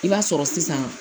I b'a sɔrɔ sisan